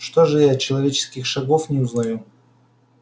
что же я человеческих шагов не узнаю